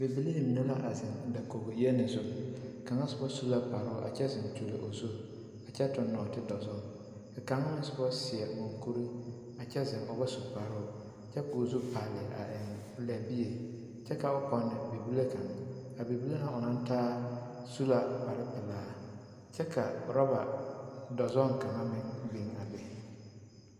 Bibilii mine la a zeŋ dakoɡi yeni zu a kaŋa soba su kparoo a kyɛ zeŋ kyuli o zu a kyɛ tuɡi nɔɔtedɔzɔŋ ka kaŋa na soba seɛ muŋkuri kyɛ zeŋ o ba su kparoo kyɛ ka o zu pale a eŋ lɛbie kyɛ ka o pɔne bibile kaŋ a bibile ŋa o naŋ taa su la kparpelaa kyɛ ka urɔba dɔzɔɡe kaŋa meŋ biŋ a be.